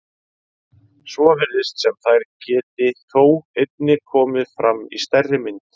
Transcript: Svo virðist sem þær geti þó einnig komið fram í stærri mynd.